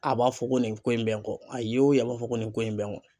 A b'a fɔ ko nin ko in bɛ n kɔ a ye ye o ye a b'a fɔ ko nin ko in bɛ n kɔ